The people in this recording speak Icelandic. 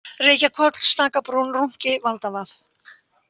Reykjahvoll, Stakabrún, Rúnki, Valdavað